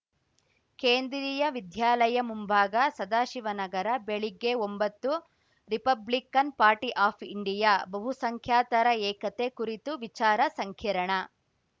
ಕೇಂದ್ರೀಯ ವಿದ್ಯಾಲಯ ಮುಂಭಾಗ ಸದಾಶಿವನಗರ ಬೆಳಿಗ್ಗೆ ಒಂಬತ್ತು ರಿಪಬ್ಲಿಕನ್‌ ಪಾರ್ಟಿ ಆಫ್‌ ಇಂಡಿಯಾ ಬಹುಸಂಖ್ಯಾತರ ಏಕತೆ ಕುರಿತು ವಿಚಾರ ಸಂಕಿರಣ